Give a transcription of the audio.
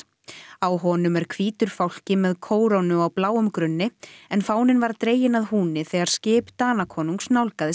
á honum er hvítur fálki með kórónu á bláum grunni en fáninn var dreginn að húni þegar skip Danakonungs nálgaðist